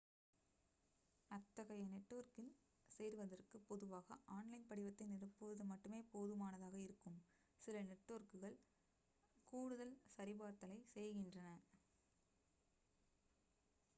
அத்தகைய நெட்வொர்க்கில் சேர்வதற்கு பொதுவாக ஆன்லைன் படிவத்தை நிரப்புவது மட்டுமே போதுமானதாக இருக்கும் சில நெட்வொர்க்குகள் கூடுதல் சரிபார்த்தலைச் செய்கின்றன